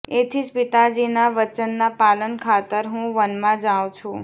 એથી જ પિતાજીનાં વચનનાં પાલન ખાતર હું વનમાં જાઊં છું